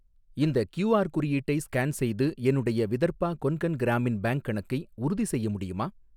இந்த கியூஆர் குறியீட்டை ஸ்கேன் செய்து என்னுடைய விதர்பா கொன்கன் கிராமின் பேங்க் கணக்கை உறுதிசெய்ய முடியுமா?